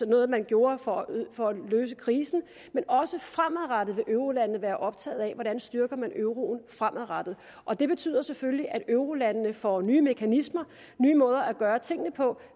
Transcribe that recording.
noget man gjorde for for at løse krisen men også fremadrettet vil eurolandene være optaget af hvordan man styrker euroen fremadrettet og det betyder selvfølgelig at eurolandene får nye mekanismer nye måder at gøre tingene på